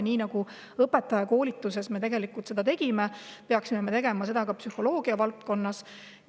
Nii nagu me tegime seda õpetajakoolituses, peaksime seda tegema ka psühholoogia valdkonnas.